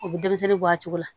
U bɛ denmisɛnnin bɔ a cogo la